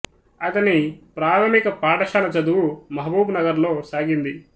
అతని ప్రాథమిక పాఠశాల చదువు మహబూబ్ నగర్ లో సాగింది